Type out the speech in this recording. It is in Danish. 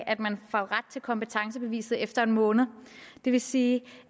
at man får ret til kompetencebeviset efter en måned det vil sige